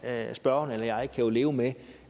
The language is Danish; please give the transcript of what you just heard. spørgeren eller jeg kan jo leve med